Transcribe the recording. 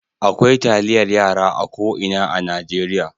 Akwai taliyar yara a ko ina a Najeriya.